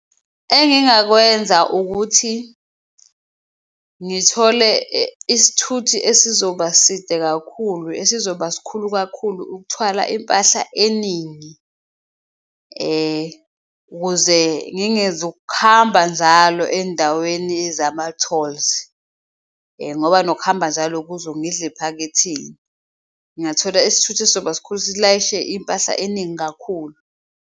Engingakwenza ukuthi ngithole isithuthi esizoba side kakhulu, esizoba sikhulu kakhulu ukuthwala impahla eningi, ukuze ngingezukuhamba nzalo endaweni zama-tolls, ngoba nokuhamba njalo kuzo kungidl'ephaketheni. Ngingathola isithuthi esizoba sikhulu silayishe impahla eningi kakhulu.